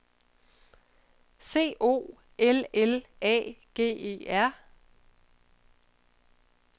C O L L A G E R